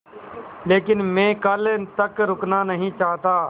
लेकिन मैं कल तक रुकना नहीं चाहता